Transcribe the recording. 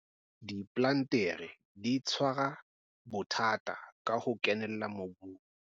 Diplantere di tshwara bothata ba ho kenella mobung.